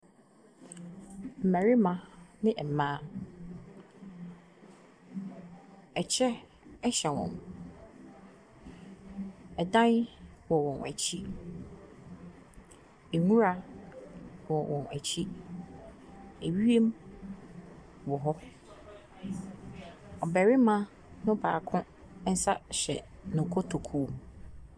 Mmarima ne mmaa, ɛkyɛ hyɛ wɔn. Ɛdan wɔ wɔn akyi. Nwura wɔ wɔn akyi. Ewiem wɔ hɔ. Ɔbarima no baako nsa hyɛ ne kotokuo mu.